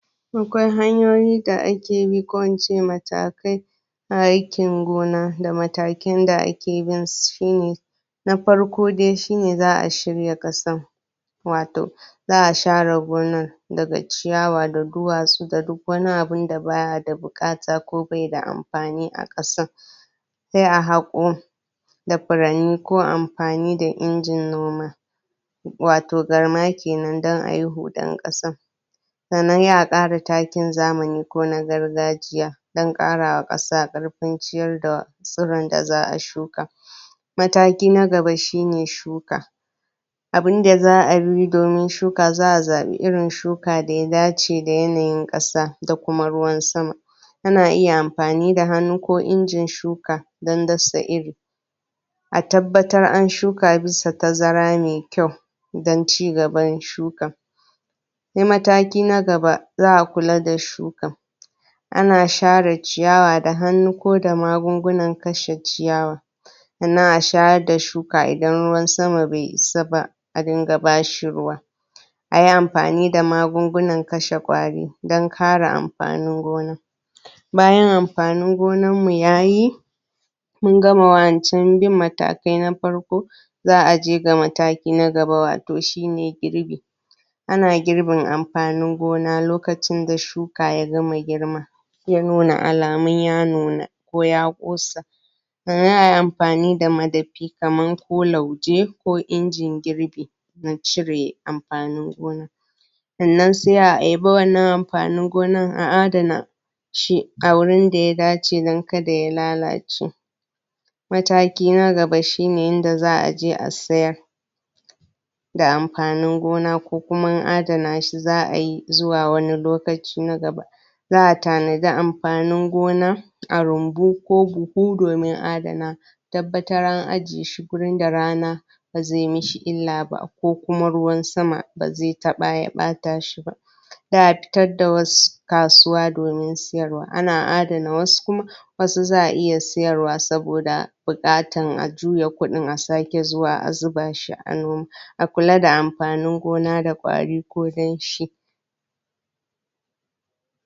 Kayayyakin da ake amfani dasu na zamani ko a ce na gargajiya, suna da matuƙar yawa gurin amfanin aikin noma dashi. Akwai kamar furanni, akwai garma, akwai madafi, akwai farfasa, akwai injin ban ruwa, akwai injin markaɗe, akwai tractoci, akwai matakai, akwai kwando, akwai injin shuka, akwai? To shi dai wannan furanni na farko, ana amfani dashi ne don haƙo ƙasa, da noma amfanin gona kuma. Sai garma; ana jan garma da shanu ne, ko injin noma don huɗar ƙasa. Wannan lokacin da ba a fara noma ba kenan ana gyaran? ƙasa? ana shirin yin noma. Akwai madafi; ana yanka ciyawa ko girbin hatsi dashi, kamar shinkafa ko saran ciyawa, duk ana amfani da wannan madafi a yanka dashi. Akwai farfasa; ana amfani dashi don gyara ƙasa bayan noma, kamar a dinga yin kunya-kunya don cire datti. Akwai injin ban ruwa; ana amfani dashi ne don shayar da amfanin gona, musamman lokacin noman rani, shi yafi amfani. Akwai injin markaɗe; ana amfani dashi ne don ware hatsi daga kara, kenan a cire mai amfani a zubar da wanda baida amfani. Akwai tractoci; ana amfani dasu don jan kayan noma, da yin wasu ayyuka masu wahala, tunda inji ne manya, suna da amfani sosai. Akwai matakai; ana amfani dashi don tattare ganye ko hatsi. Sai kwando; ana amfani dashi ne don ɗaukar amfanin gona, kamar su tumatur ko mangwaro, tattasai, wanda dai za ana ɗiba daga gonar, ana sawa a buhu ko ana fitarwa wani wuri na daban. Sai injin shuka; ana amfani dashi ne don shuka iri cikin sauƙi. Kamar yadda nace akwai kayayyakin amfanin gona na zamani da na gargajiya, shi na zamanin nan yafi sauƙaƙa mana aiki mai wahala, zamuyi shi mu gama a cikin ƴan ƙanƙanin lokuta.